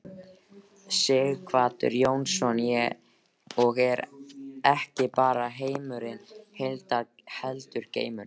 Sighvatur Jónsson: Og ekki bara heimurinn heillar heldur geimurinn?